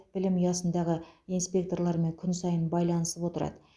білім ұясындағы инспекторлармен күн сайын байланысып отырады